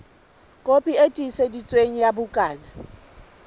kopi e tiiseditsweng ya bukana